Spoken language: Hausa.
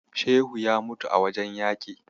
Shehu ya mutu a wajen yaƙi.